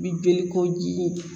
Bi joli koji